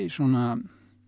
svona